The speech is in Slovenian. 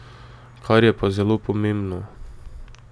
Kar je pa zelo pomembno.